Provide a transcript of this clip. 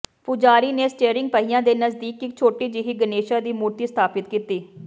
ਪੁਜਾਰੀ ਨੇ ਸਟੀਅਰਿੰਗ ਪਹੀਆ ਦੇ ਨਜ਼ਦੀਕ ਇਕ ਛੋਟੀ ਜਿਹੀ ਗਨੇਸ਼ਾ ਦੀ ਮੂਰਤੀ ਸਥਾਪਿਤ ਕੀਤੀ